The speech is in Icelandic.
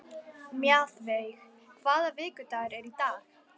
Mjaðveig, hvaða vikudagur er í dag?